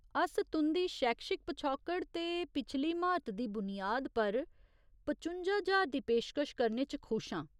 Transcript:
अस तुं'दी शैक्षिक पछौकड़ ते पिछली म्हारत दी बुनियाद पर पचुंजा ज्हार दी पेशकश करने च खुश आं।